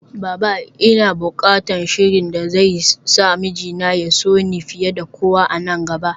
Baba! Ina bukatan sihirin da zai sa mijina ya so ni fiye da kowa a nan gaba